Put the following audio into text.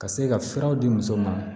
Ka se ka furaw di muso ma